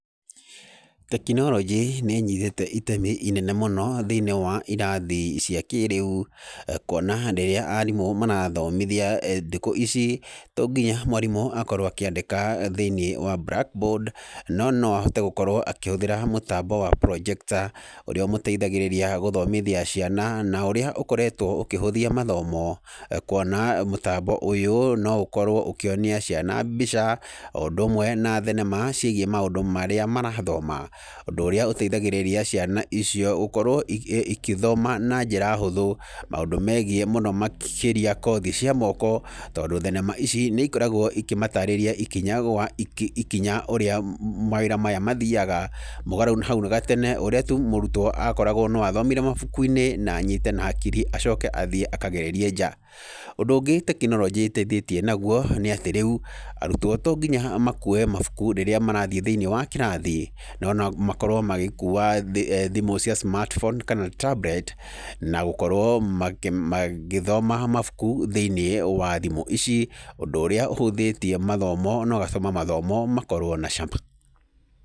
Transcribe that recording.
Tekinoronjĩ nĩ ĩnyitĩte itemi inene mũno thĩinĩ wa irathi cia kĩrĩu, kuona rĩrĩa arimũ marathomithia thikũ ici to nginya mwarimũ akorwo akĩandĩka thĩinĩ wa blackboard no noahote gũkorwo akĩhũthĩra mũtambo wa projector, ũrĩa ũmũteithagĩrĩria gũthomithia ciana na ũrĩa ũkoretwo ũkĩhũthia mathomo, kuona mũtambo ũyũ no ũkorwo ũkĩonia ciana mbica o ũndũmwe na thenema ciĩgie maũndũ marĩa marathoma, ũndũ ũrĩa ũteithagĩrĩria ciana icio gũkorwo ikĩthoma na njĩra hũthũ maũndũ megiĩ mũno makĩria kothi cia moko, tondũ thenema ici nĩikoragwo ikĩmatarĩria ikinya gwa ikinya ũrĩa mawĩra maya mathiyaga, mũgarũ na hau ga tene ũrĩa mũrutwo akoragwo no athomire mabukuinĩ na anyite na hakiri acoke athiĩ akagererie nja. Ũndũ ũngĩ tekinoronjĩ ĩteithĩtie naguo nĩ atĩ rĩu arutwo to nginya makue mabuku hĩndĩ ĩrĩa marathiĩ thĩinĩ wa kĩrathi, no nomakorwo magĩkua thimũ cia smartphone kana tablet na gũkorwo na gũkorwo magĩthoma mabuku thĩinĩ wa thimũ ici ũndũ ũrĩa ũhũthĩtie mathomo na ũgatũma mathomo makorwo na cama.